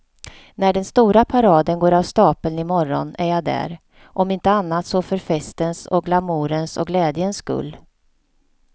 När den stora paraden går av stapeln i morgon är jag där, om inte annat så för festens och glamourens och glädjens skull.